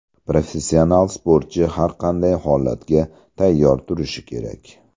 Professional sportchi har qanday holatga tayyor turishi kerak.